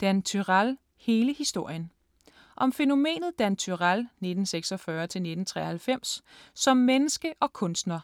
Dan Turèll - hele historien Om fænomenet Dan Turèll (1946-1993) som menneske og kunstner.